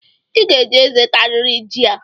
I ga-eji eze atarịrị jị a!